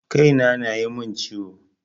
Kai na ya na mun ciwo